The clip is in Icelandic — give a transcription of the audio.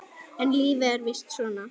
En lífið er víst svona.